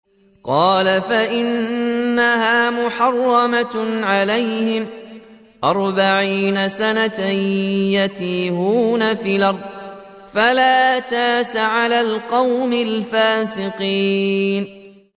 قَالَ فَإِنَّهَا مُحَرَّمَةٌ عَلَيْهِمْ ۛ أَرْبَعِينَ سَنَةً ۛ يَتِيهُونَ فِي الْأَرْضِ ۚ فَلَا تَأْسَ عَلَى الْقَوْمِ الْفَاسِقِينَ